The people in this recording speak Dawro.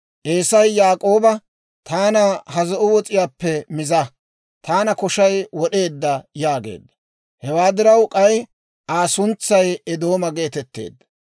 Eesay Yaak'ooba, «Taana ha zo'o wos'iyaappe miza; taana koshay wod'eedda» yaageedda. (Hewaa diraw k'ay Aa suntsay Eedooma geetetteedda).